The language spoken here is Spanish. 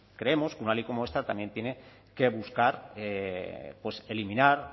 creemos que una ley como esta también tiene que buscar pues eliminar